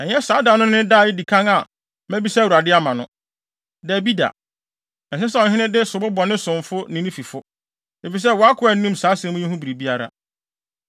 Ɛnyɛ saa da no ne da a edi kan a mabisa Awurade ama no. Dabi da! Ɛnsɛ sɛ ɔhene no de sobo bɔ ne somfo ne ne fifo, efisɛ wʼakoa nnim saa asɛm yi ho biribiara.”